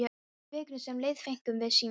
Í vikunni sem leið fengum við síma.